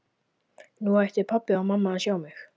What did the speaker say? Nú ættu pabbi og mamma að sjá mig!